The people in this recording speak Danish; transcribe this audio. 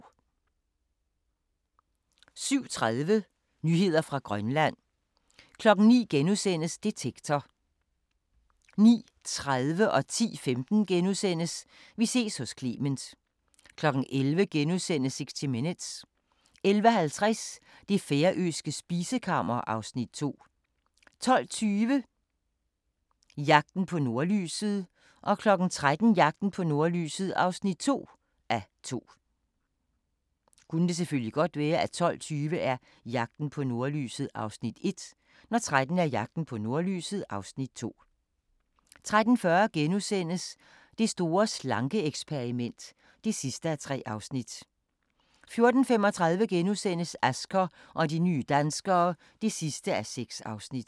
07:30: Nyheder fra Grønland 09:00: Detektor * 09:30: Vi ses hos Clement * 10:15: Vi ses hos Clement * 11:00: 60 Minutes * 11:50: Det færøske spisekammer (Afs. 2) 12:20: Jagten på nordlyset 13:00: Jagten på nordlyset (2:2) 13:40: Det store slanke-eksperiment (3:3)* 14:35: Asger og de nye danskere (6:6)*